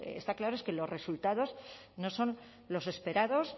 está claro es que los resultados no son los esperados